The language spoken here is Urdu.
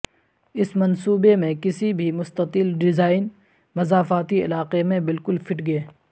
اس منصوبے میں کسی بھی مستطیل ڈیزائن مضافاتی علاقے میں بالکل فٹ گے